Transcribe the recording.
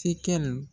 Tekɛli